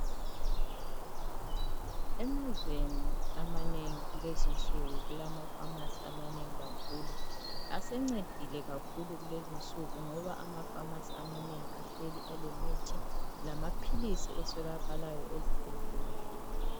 Emazweni amanengi kulezinsuku kulama Famasi amanengi kakhulu asencedile kakhulu kulezinsuku ngoba ama Famasi amanengi ahleli alemithi lamaphilisi aswelakalayo ezibhedlela.